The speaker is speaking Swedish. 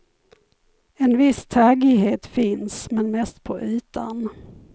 En viss taggighet finns, men mest på ytan.